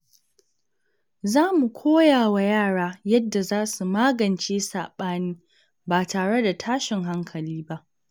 Za mu koya wa yara yadda za su magance sabani ba tare da tashin hankali ba.